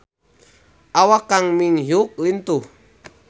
Awak Kang Min Hyuk lintuh